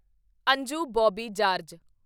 Anju Bobby George